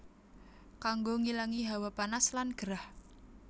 Kanggo ngilangi hawa panas lan gerah